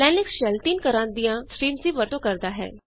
Linux shell ਤਿੰਨ ਤਰਹ ਦੀਆਂ ਸਟ੍ਰੀਮਜ਼ ਦੀ ਵਰਤੋਂ ਕਰਦਾ ਹੈ